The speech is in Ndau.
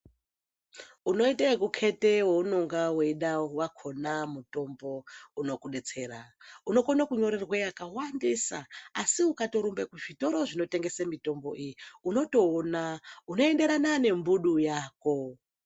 Unoita kukete waunenge aeida mutombo wakona unokudetsera , unokona kunyorerwa yakawandisa asi ukatorumba kuzvitoro zvinotengesa mitombo iyi unotoona unoenderana nembudu yako